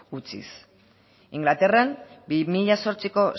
utziz ingalaterran bi mila zortziko